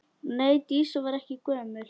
Nei, Dísa var ekki gömul.